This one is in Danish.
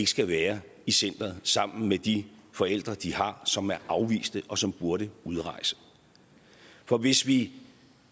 skal være i centeret sammen med de forældre de har som er afviste og som burde udrejse for hvis vi